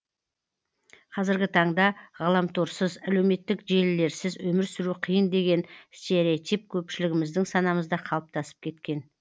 қазіргі таңда ғаламторсыз әлеуметтік желілерсіз өмір сүру қиын деген стереотип көпшілігіміздің санамызда қалыптасып кеткен